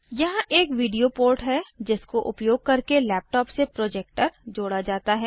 यहाँ एक video port है जिसको उपयोग करके लैपटॉप से प्रोजेक्टर जोड़ा जाता है